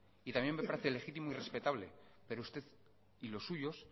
y también me parece legítimo y respetable pero usted y los suyos